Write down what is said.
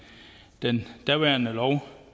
den daværende lov